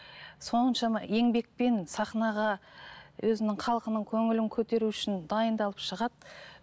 соншама еңбекпен сахнаға өзінің халқының көңілін көтеру үшін дайындалып шығады